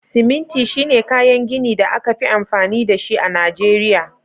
Siminti shine kayan gini da aka fi amfani da shi a Najeriya